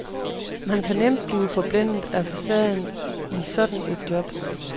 Man kan nemt blive forblændet af facaden i sådan et job.